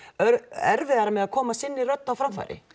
erfiðara með að koma sinni rödd á framfæri